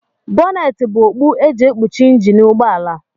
Bọneetị bụ okpu e ji ekpuchi njini ụgbọala